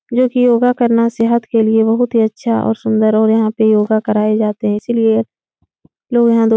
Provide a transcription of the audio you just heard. जो कि योगा करना सेहत के लिए बहुत ही अच्छा और सुन्दर और यहाँ पे योगा कराए जाते है। इसीलिए लोग यहाँ दो --